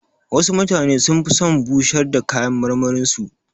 Wasu mutane sun fi son bushar da kayan marmarin su.